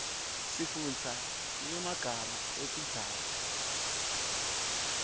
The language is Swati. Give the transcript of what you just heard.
sifundza nyemaga etintsaba